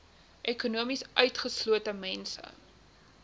ekonomies utgeslote mense